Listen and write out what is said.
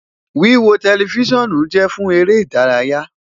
Wiwo Telifisonu jẹ fun ere idaraya